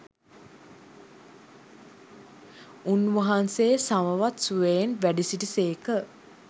උන්වහන්සේ සමවත් සුවයෙන් වැඩසිටි සේක.